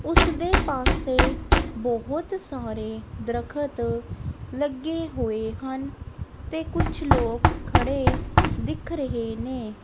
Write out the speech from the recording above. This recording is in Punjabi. ਉਸਦੇ ਪਾਸੋਂ ਬਹੁਤ ਸਾਰੇ ਦਰਖਤ ਲੱਗੇ ਹੋਏ ਹਨ ਤੇ ਕੁਝ ਲੋਕ ਖੜੇ ਦਿਖ ਰਹੇ ਨੇ।